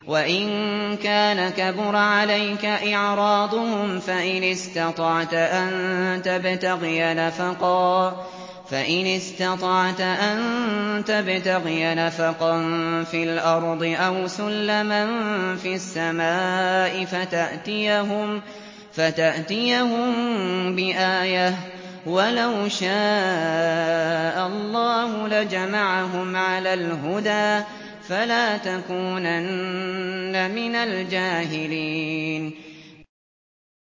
وَإِن كَانَ كَبُرَ عَلَيْكَ إِعْرَاضُهُمْ فَإِنِ اسْتَطَعْتَ أَن تَبْتَغِيَ نَفَقًا فِي الْأَرْضِ أَوْ سُلَّمًا فِي السَّمَاءِ فَتَأْتِيَهُم بِآيَةٍ ۚ وَلَوْ شَاءَ اللَّهُ لَجَمَعَهُمْ عَلَى الْهُدَىٰ ۚ فَلَا تَكُونَنَّ مِنَ الْجَاهِلِينَ